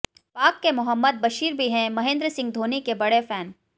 पाक के मोहम्मद बशीर भी हैं महेंद्र सिंह धोनी के बड़े फैन